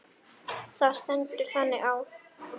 Það stendur þannig á.